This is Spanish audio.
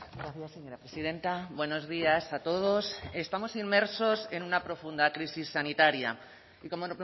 gracias señora presidenta buenos días a todos estamos inmersos en una profunda crisis sanitaria y como